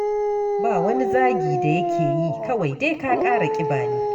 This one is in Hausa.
Ba wani zagi da yake yi, kawai dai ka ƙara ƙiba ne.